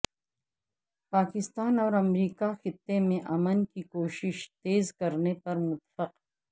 پاکستان اور امریکہ خطے میں امن کی کوشیش تیز کرنے پر متفق